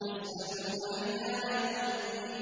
يَسْأَلُونَ أَيَّانَ يَوْمُ الدِّينِ